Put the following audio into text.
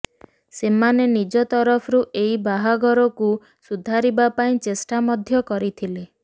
ସେମାନେ ନିଜ ତରଫରୁ ଏହି ବାହାଘରକୁ ସୁଧାରିବା ପାଇଁ ଚେଷ୍ଟା ମଧ୍ୟ କରିଥିଲେ